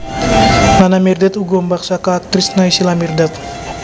Nana Mirdad uga mbak saka aktris Naysila Mirdad